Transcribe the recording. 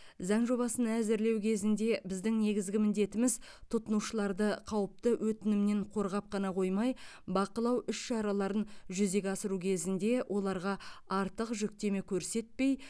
заң жобасын әзірлеу кезінде біздің негізгі міндетіміз тұтынушыларды қауіпті өтінімнен қорғап қана қоймай бақылау іс шараларын жүзеге асыру кезінде оларға артық жүктеме көрсетпей